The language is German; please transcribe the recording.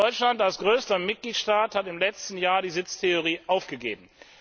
Deutschland als größter Mitgliedstaat hat im letzten Jahr die Sitztheorie aufgegeben.